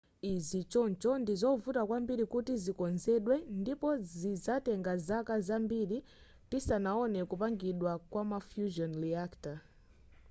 izi choncho ndizovuta kwambiri kuti zikonzedwe ndipo zizatenga zaka zambiri tisanaone kupangidwa kwa ma fusion reactor